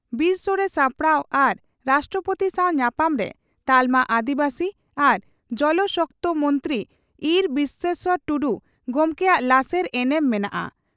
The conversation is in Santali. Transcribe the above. ᱵᱤᱨᱥᱚᱲᱮ ᱥᱟᱯᱲᱟᱣ ᱟᱨ ᱨᱟᱥᱴᱨᱚᱯᱳᱛᱤ ᱥᱟᱣ ᱧᱟᱯᱟᱢ ᱨᱮ ᱛᱟᱞᱢᱟ ᱟᱹᱫᱤᱵᱟᱹᱥᱤ ᱟᱨ ᱡᱚᱞ ᱥᱚᱠᱛᱚ ᱢᱚᱱᱛᱨᱤ ᱤᱸᱨ ᱵᱤᱥᱮᱥᱚᱨ ᱴᱩᱰᱩ ᱜᱚᱢᱠᱮᱭᱟᱜ ᱞᱟᱥᱮᱨ ᱮᱱᱮᱢ ᱢᱮᱱᱟᱜᱼᱟ ᱾